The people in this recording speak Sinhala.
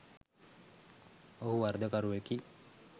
ඔහු වරදකරුවෙකි